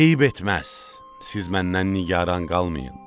Eyib etməz, siz məndən nigaran qalmayın.